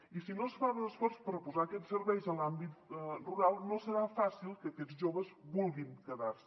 i si no es fa l’esforç per posar aquests serveis a l’àmbit rural no serà fàcil que aquests joves vulguin quedar se